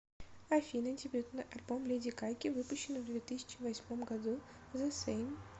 афина дебютный альбом леди гаги выпущенный в две тысячи восьмом году зе сейм